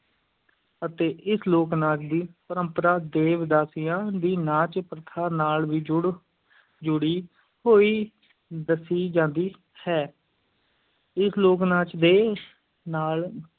ਅਤੇ ਇਸ ਲੋਕ-ਨਾਚ ਦੀ ਪਰੰਪਰਾ ਦੇਵਦਾਸੀਆਂ ਦੀ ਨਾਚ-ਪ੍ਰਥਾ ਨਾਲ ਵੀ ਜੁੜ ਜੁੜੀ ਹੋਈ ਦੱਸੀ ਜਾਂਦੀ ਹੈ ਇਸ ਲੋਕ-ਨਾਚ ਦੇ ਨਾਲ